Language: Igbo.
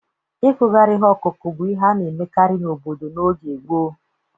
Ịkụgharị ihe ọkụkụ bụ ihe a na-emekarị n'obodo n' oge gboo